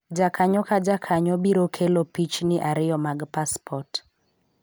jkakanyo ka jakanyo biro kelo pichni ariyo mag paspot